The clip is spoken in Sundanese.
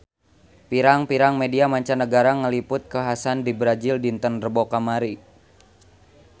Pirang-pirang media mancanagara ngaliput kakhasan di Brazil dinten Rebo kamari